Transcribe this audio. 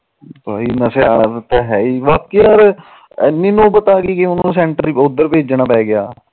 ਬਾਕੀ ਯਾਰ ਐਨੀ ਨੋਬਤ ਆਗੀ ਕਿ ਉਹਨੂੰ ਸੈਂਟਰ ਉਧਰ ਭੇਜਣਾ ਪੈ ਗਿਆ